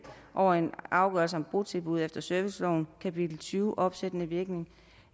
over en afgørelse om botilbud efter servicelovens kapitel tyve opsættende virkning